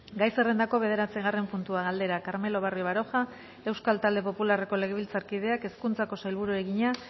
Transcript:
gai zerrendako bederatzigarren puntua galdera carmelo barrio baroja euskal talde popularreko legebiltzarkideak hezkuntzako sailburuari egina